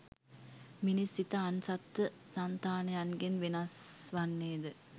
මිනිස් සිත අන් සත්ව සන්තානයන්ගෙන් වෙනස් වන්නේ ද